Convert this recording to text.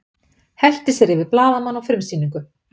Hellti sér yfir blaðamann á frumsýningu